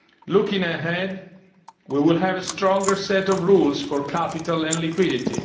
come. Looking ahead we will have a stronger set of rules for capital and liquidity.